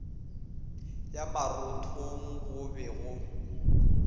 ya marothong go be go